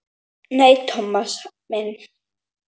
Nei, Thomas minn.